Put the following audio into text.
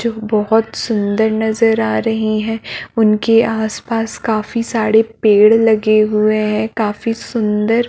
जो बहुत सुन्दर नजर आ रही है उनके आसपास काफी सारे पेड़ लगे हुए है काफी सुन्दर--